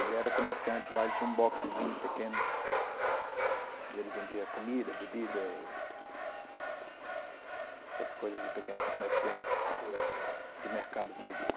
Ele era comerciante lá, ele tinha um boxezinho pequeno, onde ele vendia comida, bebida, essas coisas de pequenos comerciantes, sei sei, de mercado público.